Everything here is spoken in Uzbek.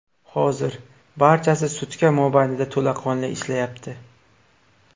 Hozir barchasi sutka mobaynida to‘laqonli ishlayapti.